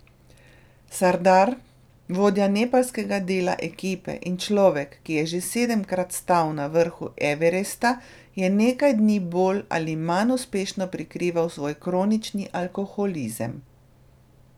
Sardar, vodja nepalskega dela ekipe in človek, ki je že sedemkrat stal na vrhu Everesta, je nekaj dni bolj ali manj uspešno prikrival svoj kronični alkoholizem.